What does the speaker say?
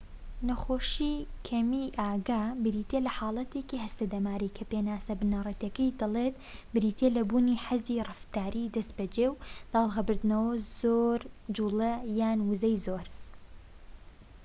نەخۆشیی کەمیی ئاگا بریتیە لە حاڵەتێکی هەستە دەماریی کە پێناسە بنەڕەتیەکەی دەڵێت بریتیە لە بوونی حەزی ڕەفتاری دەستبەجێ و داڵغەبردنەوە و زۆر جوڵە یان وزەی زۆر